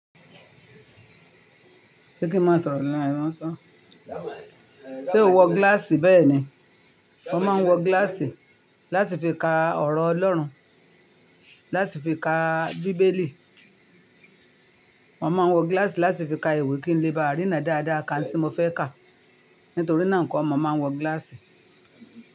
Ṣé kí n má sọ̀rọ̀ ní àìrmọ́ṣọ́? Ṣé o wọ gíláàsì bẹ́ẹ̀ ni? Mo máa ń wọ gíláàsì láti fi ka ọ̀rọ̀ Ọlọ́run, láti fi ka bíbélì. Mo máa ń wọ gíláàsì láti fi ka ìwé kí n lè bá rína dáadáa ka òhùn tí mo fẹ́ kà. Nítorí náà ni nkọ́ mo máa ń wọ gíláàsì.